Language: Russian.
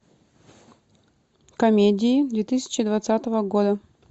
комедии две тысячи двадцатого года